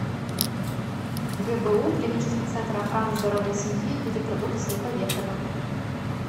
гбу клинический центр охраны здоровья семьи и репродукции поехали